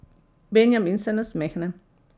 Benjamin se nasmehne.